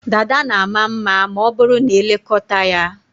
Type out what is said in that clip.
Dada na ama mma ma ọ bụrụ na e lekọta ya.